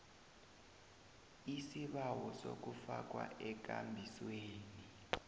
isibawo sokufakwa ekambisweni